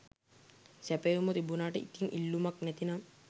සැපයුම තිබුණට ඉතිං ඉල්ලුමක් නැතිනම්